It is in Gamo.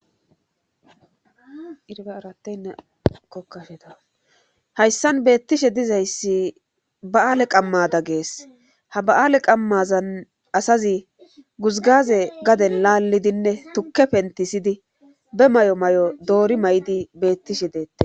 Aayokashea hayssan beettishe dizayssi ba7aale qammada gees ha ba7aale qammazan asazi guzgaze gade laallidinne tukke pentisiydi be may7o may7o doori may7di beettishe deette.